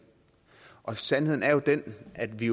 og sandheden er jo den at vi